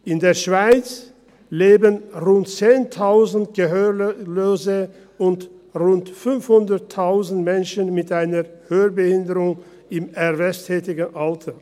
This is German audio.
In der Schweiz leben rund 10 000 Gehörlose und rund 500 000 Menschen mit einer Hörbehinderung im erwerbstätigen Alter.